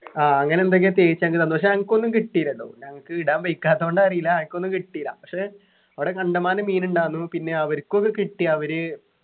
ആഹ് അങ്ങനെ എന്തൊക്കെയോ തേച്ചങ്ങ് തന്നു പക്ഷേ അനക്കൊന്നും കിട്ടീലട്ടോ ഞങ്ങക്ക് ഇടാൻ വെയ്ക്കാത്തോണ്ടാ അറീല അനക്കൊന്നും കിട്ടീല പക്ഷെ അവിടെ കണ്ടമാനം മീന്ണ്ടാർന്നു പിന്നെ അവർക്കൊക്കെ കിട്ടി അവര്